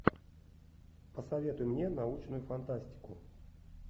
посоветуй мне научную фантастику